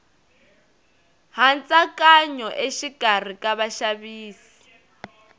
hantsakanyo exikarhi ka vaxavisi